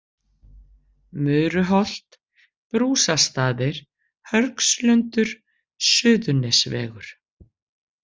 Muruholt, Brúsastaðir, Hörgslundur, Suðurnesvegur